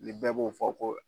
Ni bɛɛ b'o fɔ ko